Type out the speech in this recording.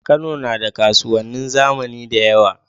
Kano nada kasuwanin zamani dayawa